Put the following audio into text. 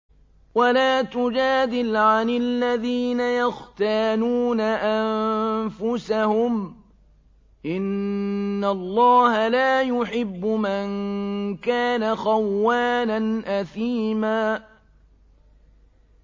وَلَا تُجَادِلْ عَنِ الَّذِينَ يَخْتَانُونَ أَنفُسَهُمْ ۚ إِنَّ اللَّهَ لَا يُحِبُّ مَن كَانَ خَوَّانًا أَثِيمًا